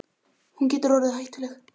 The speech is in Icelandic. Hún getur orðið hættuleg.